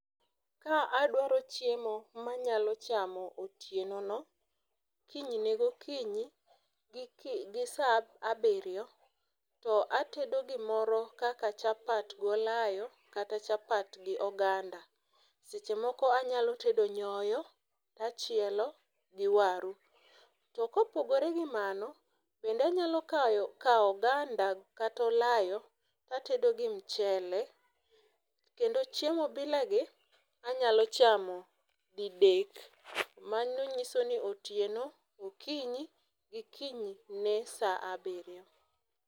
ka adwaro chiemo manyalo chamo otieno no kinyne gokinyi gi saa abirio, to atedo gimoro kaka chapat gi olayo kata chapat gi oganda. .Seche moko anyalo tedo nyoyo tachielo gi waru..To kopogore gi mano bende anyalo kayo kao oganda kata olayo tatedo gi mchele kendo chiemo bila gi anyalo chamo didek mano nyiso ni otieno, okinyi gi kinyne saa abirio